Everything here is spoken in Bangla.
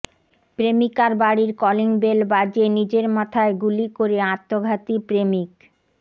প্রেমিকার বাড়ির কলিংবেল বাজিয়ে নিজের মাথায় গুলি করে আত্মঘাতী প্রেমিক